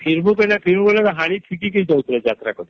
ଫିରବି ବୋଲେ ଫିରି ବୋଲେ ହାଡ଼ି ଠିକୀକେ ଯାଉଥିଲେ ଯାତ୍ରା କରି